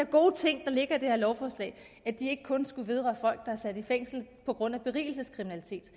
gode ting der ligger i det her lovforslag ikke kun skulle vedrøre er sat i fængsel på grund af berigelseskriminalitet